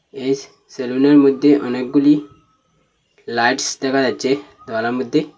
এই স সেলুনের মধ্যে অনেকগুলি লাইটস দেখা যাচ্ছে দেওয়ালের মধ্যে।